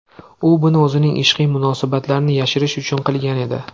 U buni o‘zining ishqiy munosabatlarini yashirish uchun qilgan edi.